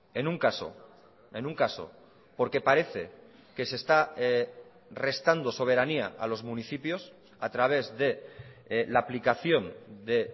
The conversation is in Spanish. en un caso en un caso porque parece que se está restando soberanía a los municipios a través de la aplicación de